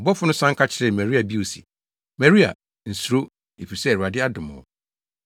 Ɔbɔfo no san ka kyerɛɛ Maria bio se, “Maria, nsuro, efisɛ Awurade adom wo.